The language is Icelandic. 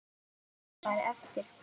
Óskari eftir.